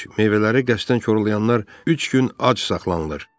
Meyvələri qəsdən korlayanlar üç gün ac saxlanılır.